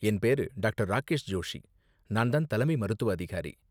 என் பேரு டாக்டர். ராகேஷ் ஜோஷி, நான் தான் தலைமை மருத்துவ அதிகாரி.